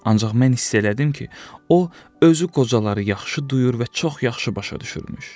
Ancaq mən hiss elədim ki, o özü qocaları yaxşı duyur və çox yaxşı başa düşürmüş.